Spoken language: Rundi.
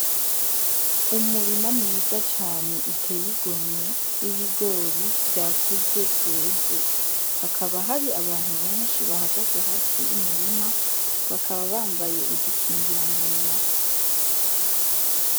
Umurima mwiza cane uteye igomwe w'ibigori vya kuze vyeze, hakaba hari abantu beshi bahagaze hafi y'umurima bakaba bambaye udu kingira munwa.